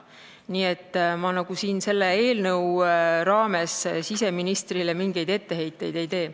Nii et ma selle eelnõu raames siseministrile mingeid etteheiteid ei tee.